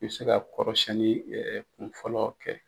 I bɛ se ka kɔrɔsɛnni kunfɔlɔ kɛ.